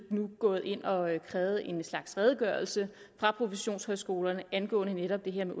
nu gået ind og har krævet en slags redegørelse fra professionshøjskolerne angående netop det her med